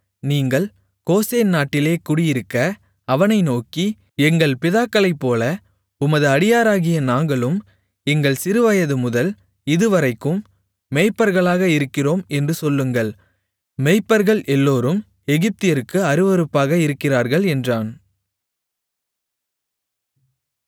நீங்கள் கோசேன் நாட்டிலே குடியிருக்க அவனை நோக்கி எங்கள் பிதாக்களைப்போல உமது அடியாராகிய நாங்களும் எங்கள் சிறுவயதுமுதல் இதுவரைக்கும் மேய்ப்பர்களாக இருக்கிறோம் என்று சொல்லுங்கள் மேய்ப்பர்கள் எல்லோரும் எகிப்தியருக்கு அருவருப்பாக இருக்கிறார்கள் என்றான்